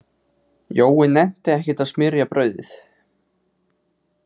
Jói nennti ekkert að smyrja brauðið.